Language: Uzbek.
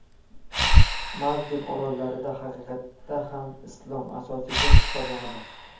Maldiv orollarida haqiqatda ham islom – asosiy din hisoblanadi.